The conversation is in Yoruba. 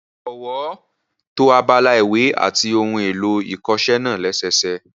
Jọ̀wọ́ to abala ìwé àti ohun èlò ìkọṣẹ́ náà lẹ́sẹẹsẹ